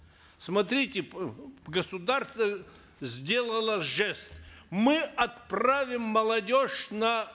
смотрите государство сделало жест мы отправим молодежь на